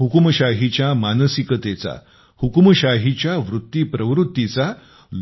हुकूमशाहीच्या मानसिकतेचा हुकूमशाहीच्या वृत्तीप्रवृत्तीचा